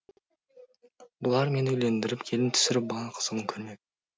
бұлар мені үйлендіріп келін түсіріп бала қызығын көрмек